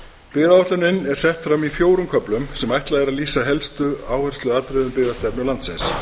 byggðaáætlunin er sett fram í fjórum köflum sem ætlað er að lýsa helstu áhersluatriðum byggðastefnu landsins